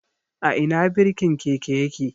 A Ina birkin keke yake?